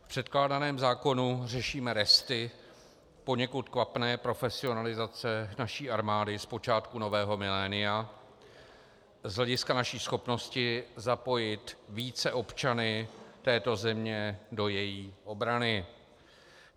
V předkládaném zákonu řešíme resty poněkud kvapné profesionalizace naší armády z počátku nového milénia z hlediska naší schopnosti zapojit více občany této země do její obrany.